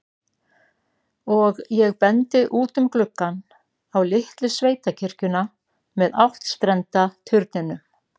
Og ég bendi út um gluggann, á litlu sveitakirkjuna með áttstrenda turninum.